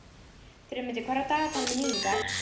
Friðmundur, hvað er á dagatalinu mínu í dag?